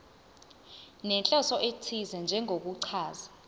nenhloso ethize njengokuchaza